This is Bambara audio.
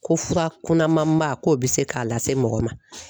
Ko fura kunnamanba k'o bɛ se k'a lase mɔgɔ ma